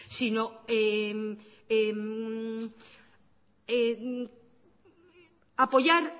sino apoyar